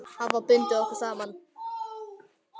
Hafa bundið okkur saman.